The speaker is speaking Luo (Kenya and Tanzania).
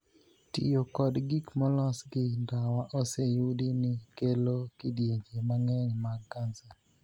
Tiyo kod gik molos gi ndawa oseyudi ni kelo kidienje mang'eny mag kansa.